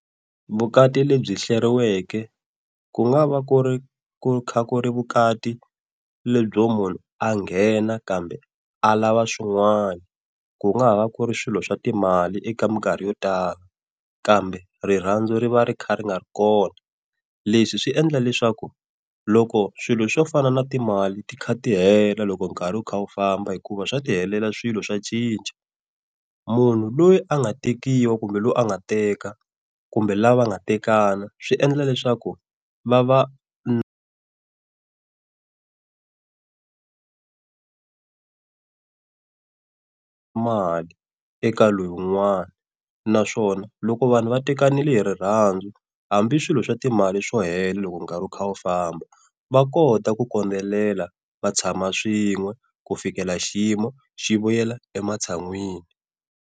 Vukati lebyi hleriweke ku nga va, ku ri kha ku ri vukati lebyo munhu a nghena kambe alava swin'wana, ku nga va ku ri swilo swa timali eka mikarhi yo tala kambe rirhandzu ri va ri kha ri nga ri kona. Leswi swi endla leswaku loko swilo swo fana na timali ti kha ti hela loko nkarhi wu kha wu famba, hikuva swa ti helela swilo swa cinca. Munhu loyi a nga tekiwa kumbe loyi a nga teka kumbe lava nga tekana, swi endla leswaku va va mali eka loyi un'wana naswona loko vanhu va tekanile hi rirhandzu hambi swilo swa timali swo hela loko nkarhi wu kha wu famba va kota ku kondelelana va tshama swin'we ku fikela xiyimo xi vuyela ematshan'wini.